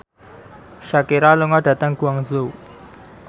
Shakira lunga dhateng Guangzhou